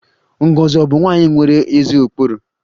Ngozi ọ̀ bụ nwanyị nwere ezi ụkpụrụ?